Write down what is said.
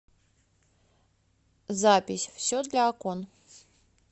запись все для окон